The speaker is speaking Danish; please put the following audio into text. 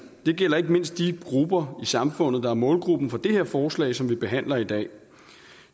det gælder ikke mindst de grupper i samfundet der er målgruppen for det her forslag som vi behandler i dag